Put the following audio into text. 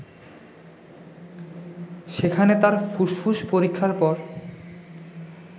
সেখানে তার ফুসফুস পরীক্ষার পর